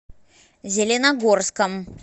зеленогорском